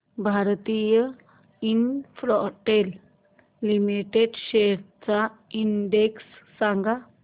Bharti infratel limited shares चा index सांगा